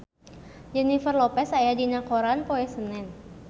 Jennifer Lopez aya dina koran poe Senen